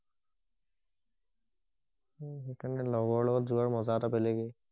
সেই কাৰণে লগৰ লগত যোৱাটো মজা এটা বেলেগেই